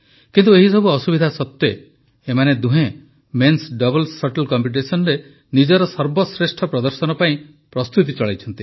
କିନ୍ତୁ ଏହିସବୁ ଅସୁବିଧା ସତ୍ୱେ ଏମାନେ ଦୁହେଁ ମେନ୍ସ ଡବଲ୍ ଶଟଲ୍ କମ୍ପିଟିସନରେ ନିଜର ସର୍ବଶ୍ରେଷ୍ଠ ପ୍ରଦର୍ଶନ ପାଇଁ ପ୍ରସ୍ତୁତି ଚଳାଇଛନ୍ତି